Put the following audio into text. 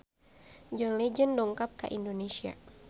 John Legend dongkap ka Indonesia